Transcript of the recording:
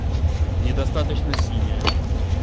недостаточно синяя